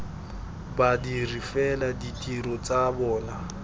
badiri fela ditiro tsa bona